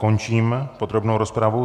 Končím podrobnou rozpravu.